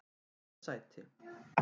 öðru sæti